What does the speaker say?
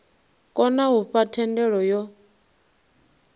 kona u fha thendelo yo